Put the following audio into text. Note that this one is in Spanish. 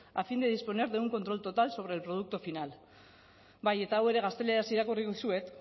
a fin de disponer de un control total sobre el producto final bai eta hau ere gazteleraz irakurri dizuet